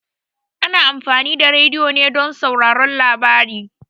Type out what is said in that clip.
Ana amfani da rediyo ne don sauraron labarai.